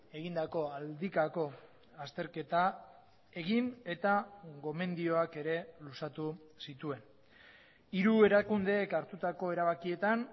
egindako aldikako azterketa egin eta gomendioak ere luzatu zituen hiru erakundeek hartutako erabakietan